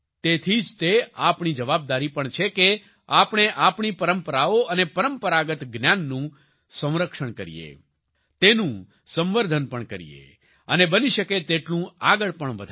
તેથી જ તે આપણી જવાબદારી પણ છે કે આપણે આપણી પરંપરાઓ અને પરંપરાગત જ્ઞાનનું સંરક્ષણ કરીએ તેનું સંવર્ધન પણ કરીએ અને બની શકે તેટલું આગળ પણ વધારીએ